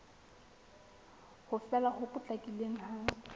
ho fela ho potlakileng ha